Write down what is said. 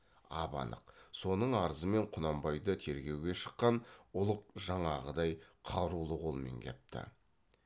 ап анық соның арызымен құнанбайды тергеуге шыққан ұлық жаңағыдай қарулы қолмен кепті